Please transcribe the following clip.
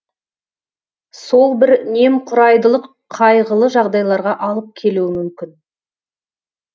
сол бір немқұрайдылық қайғылы жағдайларға алып келуі мүмкін